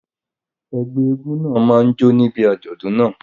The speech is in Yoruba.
Ẹgbẹ́ egúngún náà máa jó níbi àjọ̀dún náà.